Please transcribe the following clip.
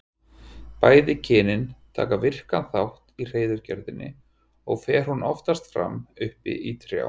Bæði kynin taka virkan þátt í hreiðurgerðinni og fer hún oftast fram uppi í trjám.